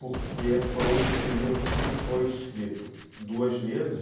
porque foi um livro que foi escrito duas vezes.